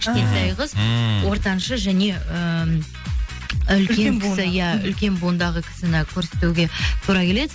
кішкентай қыз ммм ортаңшы және ііі үлкен кісі иә үлкен буындағы кісіні көрсетуге тура келеді